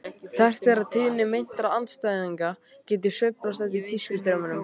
Þekkt er að tíðni meintra andsetninga getur sveiflast eftir tískustraumum.